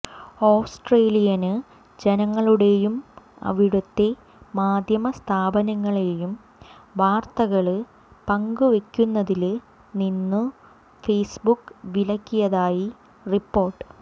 Australian ജനങ്ങളേയും അവിടുത്തെ മാധ്യമസ്ഥാപനങ്ങളെയും വാര്ത്തകള് പങ്കുവെക്കുന്നതില്നിന്നു ഫെയ്സ്ബുക്ക് വിലക്കിയതായി റിപ്പോർട്ട്